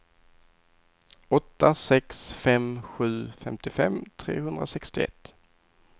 åtta sex fem sju femtiofem trehundrasextioett